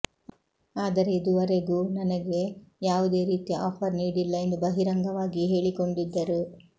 ಆದರೆ ಇದುವರೆಗೂ ನನಗೆ ಯಾವುದೇ ರೀತಿಯ ಆಫರ್ ನೀಡಿಲ್ಲ ಎಂದು ಬಹಿರಂಗವಾಗಿಯೇ ಹೇಳಿಕೊಂಡಿದ್ದರು